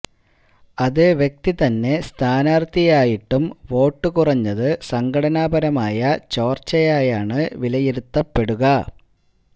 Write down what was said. അതേ വ്യക്തി തന്നെ സ്ഥാനാർഥിയായിട്ടും വോട്ട് കുറഞ്ഞത് സംഘടനാപരമായ ചോർച്ചയായാണ് വിലയിരുത്തപ്പെടുക